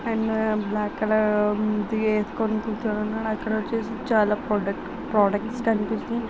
And black colour hoodie ఏసుకొని కూర్చొని ఉన్నాడు. అక్కడ చూడగానే చాలా ప్రొడక్ ప్రొడక్స్ ]